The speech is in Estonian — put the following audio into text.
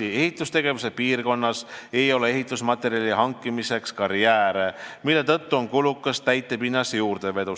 ehitustegevuse piirkonnas ei ole ehitusmaterjali hankimiseks karjääre, mille tõttu on täitepinnase juurdevedu kulukas.